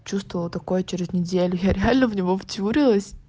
чувствовала такое через неделю я реально в него втюрилась